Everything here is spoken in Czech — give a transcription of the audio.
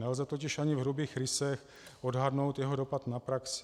Nelze totiž ani v hrubých rysech odhadnout jeho dopad na praxi.